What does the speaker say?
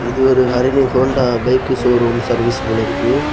இது ஒரு Harini Honda bike showroom service போல இருக்கு.